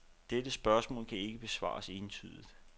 Dette spørgsmål kan ikke besvares entydigt.